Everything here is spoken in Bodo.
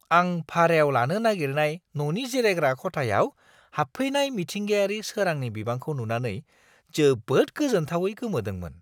आं भारायाव लानो नागिरनाय न'नि जिरायग्रा खथायाव हाबफैनाय मिथिंगायारि सोरांनि बिबांखौ नुनानै जोबोद गोजोनथावै गोमोदोंमोन!